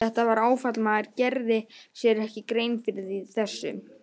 Þetta var áfall, maður gerði sér ekki grein fyrir þessu.